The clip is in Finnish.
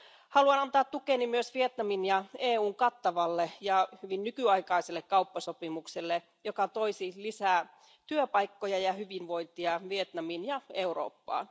Haluan antaa tukeni myös Vietnamin ja EUn kattavalle ja hyvin nykyaikaiselle kauppasopimukselle, joka toisi lisää työpaikkoja ja hyvinvointia Vietnamiin ja Eurooppaan.